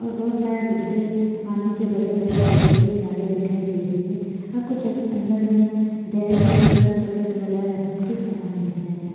और बहोत सारे डिब्बे पानी के बड़े बड़े बोत्तले जारें दिखाई दे रहे है और कुछ अंदर में डेरी मिल्क वगेरा चॉक्लेट वगेरा रखने के सामान दिख रहे हैं।